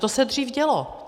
To se dřív dělo.